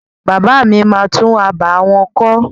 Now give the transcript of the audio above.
Bàbá mi máa tún abà wọn kọ́.